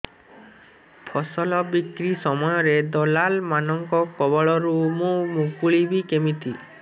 ଫସଲ ବିକ୍ରୀ ସମୟରେ ଦଲାଲ୍ ମାନଙ୍କ କବଳରୁ ମୁଁ ମୁକୁଳିଵି କେମିତି